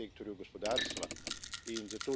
določenem sektorju gospodarstva.